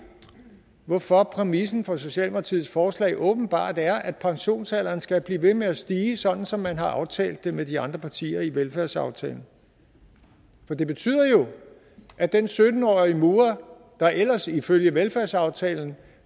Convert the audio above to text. hvorfor præmissen for socialdemokratiets forslag åbenbart er at pensionsalderen skal blive ved med at stige sådan som man har aftalt det med de andre partier i velfærdsaftalen for det betyder jo at den sytten årige murer der ellers ifølge velfærdsaftalen